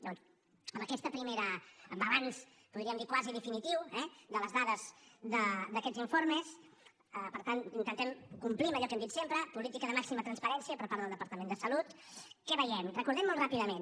llavors amb aquest primer balanç podríem dir quasi definitiu eh de les dades d’aquests informes per tant intentem complir amb allò que hem dit sempre política de màxima transparència per part del departament de salut què veiem recordem ho molt ràpidament